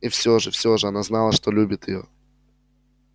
и все же все же она знала что любит её